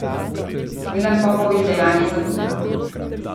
Milan Popović dejanje zanika.